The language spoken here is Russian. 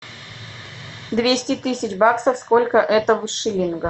двести тысяч баксов сколько это в шиллингах